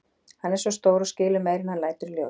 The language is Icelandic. Hann er svo stór og skilur meira en hann lætur í ljós.